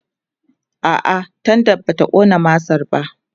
a'a tendan bata ƙona masar ba